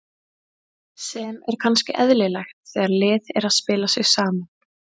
Sem er kannski eðlilegt þegar lið er að spila sig saman.